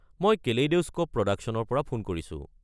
মই কেলেইড'স্ক'প প্ৰডাকশ্যনৰ পৰা ফোন কৰিছো।